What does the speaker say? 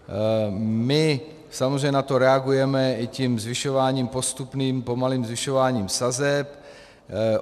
My samozřejmě na to reagujeme i tím zvyšováním postupným, pomalým zvyšováním sazeb.